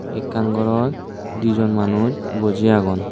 ekkan ghorot di jon manuj boji agon.